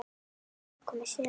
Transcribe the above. Það er komið sumar.